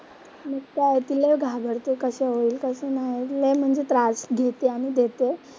मग काय ती लय घाबरते कसं होईल कसं नाही? लय म्हणजे त्रास घेते आणि देते.